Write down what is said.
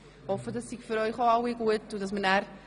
Ich hoffe, dieses Vorgehen sei für Sie ebenfalls in Ordnung.